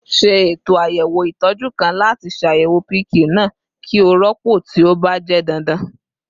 Ṣe eto ayẹwo itọju kan lati ṣayẹwo pq naa ki o rọpo ti o ba jẹ dandan